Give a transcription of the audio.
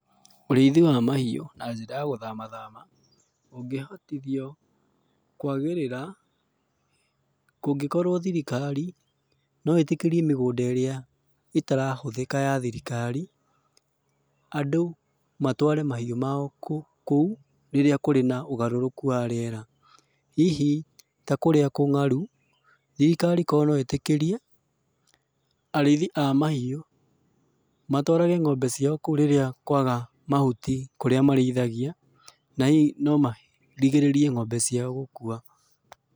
Ũrĩithi wa mahiũ, na njĩra ya gũthama thama, ũngĩhotithio kũagĩrĩra, kũngĩkorwo thirikari, no ĩtĩkĩrie mĩgũnda ĩrĩa, ĩtarahũthĩka ya thirikari, andũ matware mahiũ mao kũu, rĩrĩa kũrĩ na ũgarũrũku wa rĩera. Hihi ta kũrĩa kũng'aru, thirikari korwo no itĩkĩrie, arĩithi a mahiũ, matwarage ng'ombe ciao kũu rĩrĩa kwaga mahuti kũrĩa marĩithagia, na hihi no marigĩrĩrie ng'ombe ciao gũkua.